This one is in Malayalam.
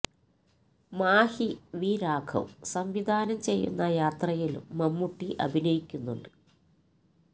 മാഹി വി രാഘവ് സംവിധാനം ചെയ്യുന്ന യാത്രയിലും മമ്മൂട്ടി അഭിനയിക്കുന്നുണ്ട്